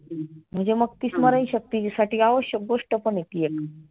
म्हणजे मग ती स्मरणशक्ती तीजी आवश्यक गोष्ट पण आहे ती एक.